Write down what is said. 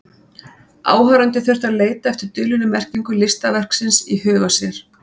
Áhorfandinn þurfti að leita eftir dulinni merkingu listaverksins í huga sér.